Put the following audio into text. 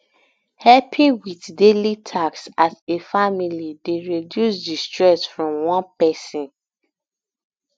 helping with daily taks as a family dey reduce di stress from one person